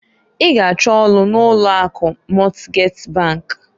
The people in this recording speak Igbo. I g'achọ ọlụ n'ụlọ akụ Mọtgej bankǃ